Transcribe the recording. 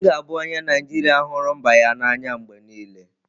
M ga-abụ onye Naijiria hụrụ mba ya n'anya mgbe niile.